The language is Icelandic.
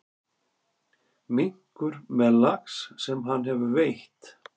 Minkur með lax sem hann hefur veitt.